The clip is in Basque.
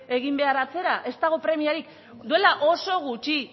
egin behar atzera ez dago premiarik duela oso gutxi